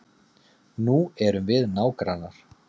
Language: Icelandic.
Nú erum við nágrannar.